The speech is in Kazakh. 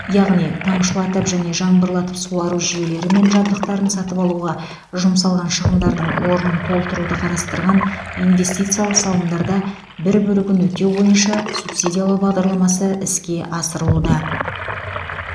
яғни тамшылатып және жаңбырлатып суару жүйелері мен жабдықтарын сатып алуға жұмсалған шығындардың орнын толтыруды қарастырған инвестициялық салымдарда бір бөлігін өтеу бойынша субсидиялау бағдарламасы іске асырылуда